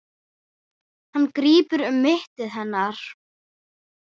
Hann grípur um mitti hennar.